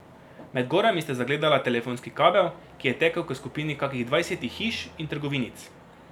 Med gorami sta zagledala telefonski kabel, ki je tekel k skupini kakih dvajsetih hiš in trgovinic.